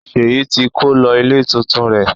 Seyi ti kó lọ ilé tuntun rẹ̀.